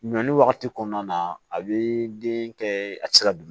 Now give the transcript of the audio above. Ɲɔli wagati kɔnɔna na a bi den kɛ a tɛ se ka